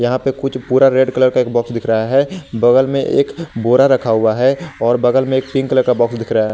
यहां पे कुछ भूरा रेड कलर का एक बॉक्स दिख रहा है बगल में एक बोरा रखा हुआ है और बगल में एक पिंक कलर का बॉक्स दिख रहा है।